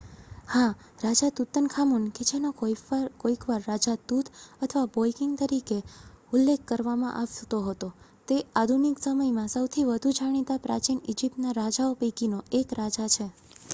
"હા! રાજા તુતનખામુન કે જેનો કોઈકવાર "રાજા તુત" અથવા "બોય કિંગ" તરીકે ઉલ્લેખ કરવામાં આવતો હતો તે આધુનિક સમયમાં સૌથી વધુ જાણીતા પ્રાચીન ઈજીપ્તના રાજાઓ પૈકીનો એક રાજા છે.